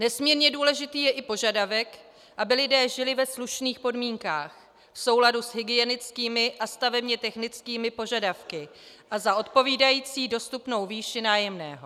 Nesmírně důležitý je i požadavek, aby lidé žili ve slušných podmínkách v souladu s hygienickými a stavebně technickými požadavky a za odpovídající dostupnou výši nájemného.